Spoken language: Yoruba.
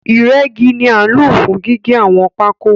Ìrẹ́gi ni a nlo fún gígé àwọn pákó